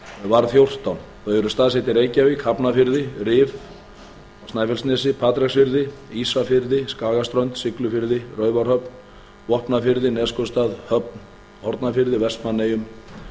var fjórtán þau eru staðsett í reykjavík hafnarfirði rifi snæfellsnesi patreksfirði ísafirði skagaströnd siglufirði raufarhöfn vopnafirði neskaupstað höfn í hornafirði vestmannaeyjum